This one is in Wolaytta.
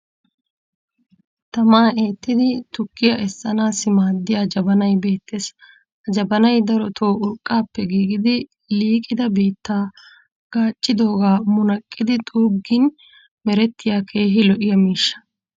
tamaa eettidi tukkiya essanaassi maadiya jabbanay beettees. ha jabbany darotoo urqaappe giigidi liiqidda biittaa gaaccidoogaa munaqqidi xuuggin merettiya keehi lo'iyaa miishsha.